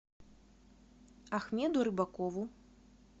ахмеду рыбакову